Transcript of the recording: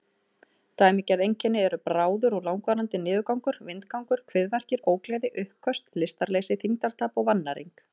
Dæmigerð einkenni eru bráður eða langvarandi niðurgangur, vindgangur, kviðverkir, ógleði, uppköst, lystarleysi, þyngdartap og vannæring.